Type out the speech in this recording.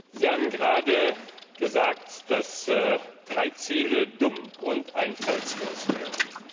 Sie haben gerade gesagt, dass drei Ziele dumm und einfallslos wären.